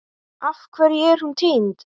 Af hverju er hún týnd?